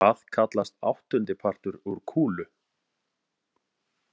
Hvað kallast áttundipartur úr kúlu?